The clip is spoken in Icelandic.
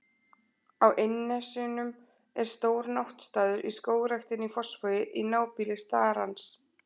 Á Innnesjum er stór náttstaður í Skógræktinni í Fossvogi, í nábýli starans.